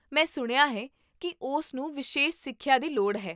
ਮੈਂ ਸੁਣਿਆ ਹੈ ਕੀ ਉਸਨੂੰ ਵਿਸ਼ੇਸ਼ ਸਿੱਖਿਆ ਦੀ ਲੋੜ ਹੈ